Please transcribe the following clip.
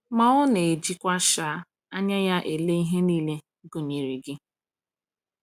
Ma Ọ na-ejikwa um anya Ya ele ihe niile, gụnyere gị.